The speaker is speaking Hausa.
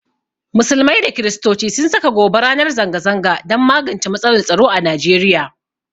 Musulmai da Kirstoci sun saka gobe ranar zanga zanga don magance matsalar tsaro a nigeria